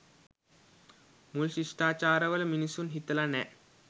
මූල් ශිෂ්ඨාචාරවල මිනිසුන් හිතලා නෑ.